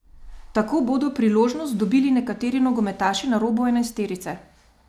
Tako bodo priložnost dobili nekateri nogometaši na robu enajsterice.